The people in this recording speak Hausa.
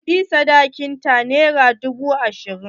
Kuɗin sadakin ta nera dubu ashirin.